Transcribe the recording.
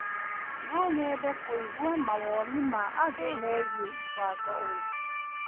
No nyende kũigua mawoni ma andũ megiĩ mũbango ũyũ.